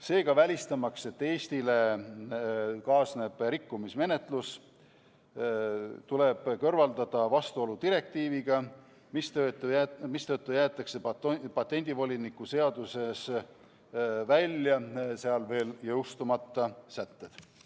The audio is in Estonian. Seega, välistamaks, et Eestile kaasneb rikkumismenetlus, tuleb kõrvaldada vastuolu direktiiviga, mistõttu jäetakse patendivoliniku seadusest välja veel jõustumata sätted.